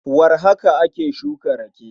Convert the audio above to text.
Warhaka ake shuka rake.